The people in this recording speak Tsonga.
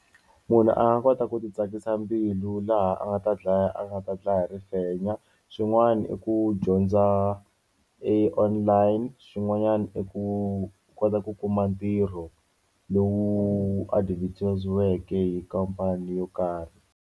Munhu a nga kota ku ti tsakisa mbilu laha a nga ta dlaya a nga ta dlaya hi rifenya swin'wana i ku dyondza i online, xin'wanyana i ku kota ku kuma ntirho lowu advertise-iweke hi khampani yo karhi.